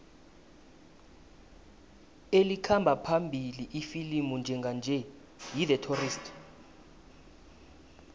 elikhamba phambili ifilimu njenganje yi the tourist